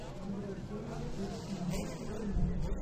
игра челси против манчестер юнайтед